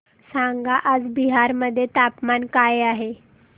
सांगा आज बिहार मध्ये तापमान काय आहे